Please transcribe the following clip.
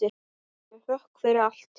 Með þökk fyrir allt.